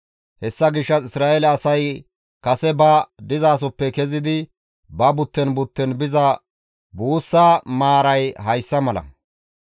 Hessa gishshas Isra7eele asay kase ba dizasoppe kezidi ba butten butten biza buussaa maaray hayssa mala.